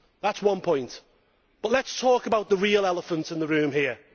That is one point, but let us talk about the real elephant in the room here.